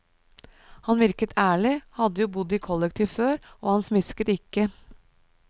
Han virket ærlig, hadde jo bodd i kollektiv før, og han smisket ikke.